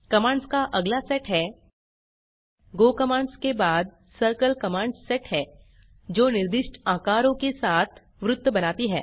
commands का अगला set है गो कमांड्स के बाद सर्किल कमांड्स सेट है जो निर्दिष्ट आकारों के साथ वृत्त बनाती है